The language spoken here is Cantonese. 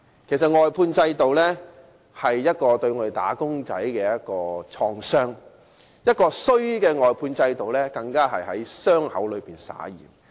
其實外判制度是對"打工仔"的一種創傷，而壞的外判制度更是在傷口上灑鹽。